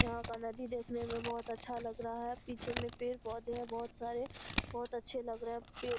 यहां का नदी देखने में बहुत अच्छा लग रहा है पीछे में पेड़-पौधे है बहुत सारे बहुत अच्छे लग रहे है पेड़ |